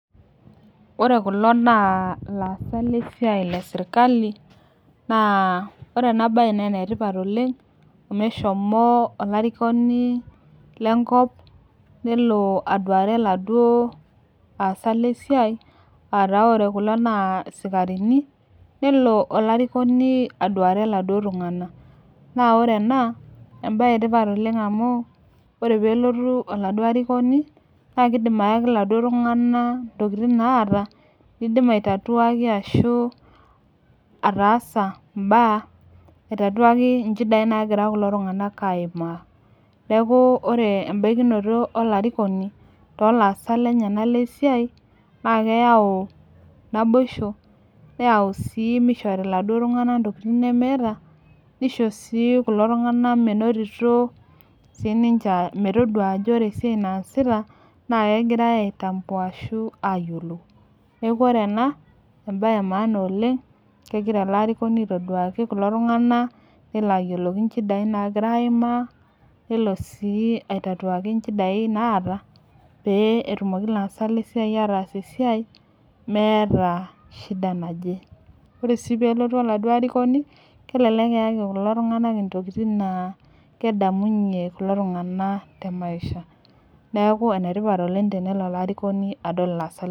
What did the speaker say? Ore kulo na laasak lesiai leserkali nabore enabae na enetipat oleng amu eshomo olarikoni lenkop aduare laduo asak lesiai ata ore kulo na sikarini nelo olarikoni aduare laduo tunganak naore ena na embae etipat amu ore pelotu oladuo arikoni na kidim ayaki laduo tunganak ntokitin naata nidim aitaduaki nchidai nagira kulo tunganak aimaa neaku ore embakinoto. Olarikoni tolaasak lenyenak lesiai na keyau naboisho neyau duo mishori ltunganak naduo tokitin nemeeta nisho si kulo tunganak minotito sininche metadua ajo ore esiai naasita nakegirai ayiolou neaku ore ena embae emaana oleng keloito ele arikoni aitaduaki nelo aliki nchidai naima nelo aitatuaki nchidai naata peetumoki laasak lesiaia ataas esiaia meeta shida naje ore si okaduo arikoni kelek eaki laduo tunganak intokitin na kedamunye kulo tunganak temaisha neaku enetipat oleng tenelo olarikoni adol laasak lesiai.